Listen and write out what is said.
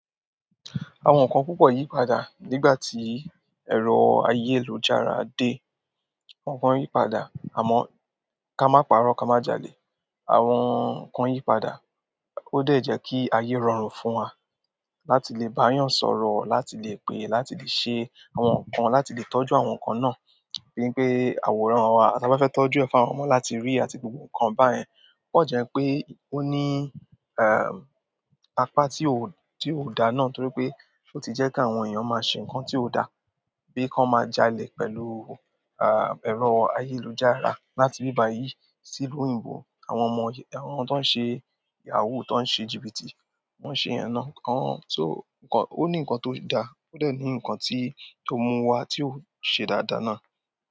Àwọn nǹkan púpọ̀ yí padà nígbà tí ẹ̀rọ ayélujára dé. Àwọn nǹkan yí padà àmọ́ ká má parọ́ ká má jalè. Àwọn nǹkan yí padà ó dẹ̀ jẹ kí ayé rọrùn fún wa láti lè bá yàn sọ̀rọ̀, láti lè pè, láti lè ṣe àwọn nǹkan, láti lè tọ́jú àwọn nǹkan náà. Bín pe àwòrán wa, àti bá fẹ́ tọ́jú ẹ̀fà àwọn ọmọ láti rí àti gbogbo nǹkan báyẹn. Ókan jẹ́ pé ó ní, ẹ́, apá tí ó, tí ó da náà torí pé ó ti jẹ́ kí àwọn èèyàn má ṣe nǹkan tí ó da bí kọ́ má jalè pẹ̀lú, ẹ́, ẹ̀rọ ayélujára láti ibíbàyìí sí ìlú òyìnbó. Àwọn ọmọ, àwọn tó ń ṣe yahoo, tó ń ṣe jìbìtì, wọ́n ń ṣe yẹ̀ náà. Ọ̀ún só, nǹkan, ó ní nǹkan tó da ó dà ní nǹkan tí, tó mú wa tí ò ṣe dáadáa náà.